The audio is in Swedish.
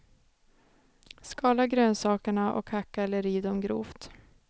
Skala grönsakerna och hacka eller riv dem grovt.